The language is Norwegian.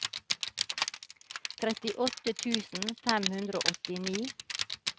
trettiåtte tusen fem hundre og åttini